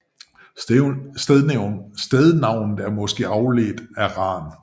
Stednavnet er måske afledt af Ran